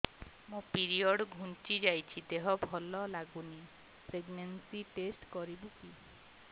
ମୋ ପିରିଅଡ଼ ଘୁଞ୍ଚି ଯାଇଛି ଦେହ ଭଲ ଲାଗୁନି ପ୍ରେଗ୍ନନ୍ସି ଟେଷ୍ଟ କରିବୁ କି